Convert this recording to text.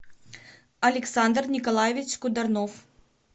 александр николаевич кударнов